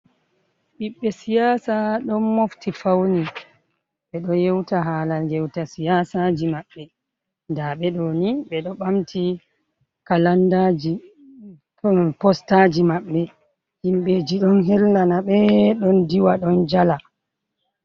Ɓiɓɓe siyaasa ɗon mofti fauni. Ɓe ɗo yeuta haala ngeuta siyaasaji maɓɓe, nda ɓe ɗo ni ɓe ɗo ɓamti kalandaaji, postaaji maɓɓe. Himɓeji ɗon hellana ɓe, ɗon diwa ɗon jala.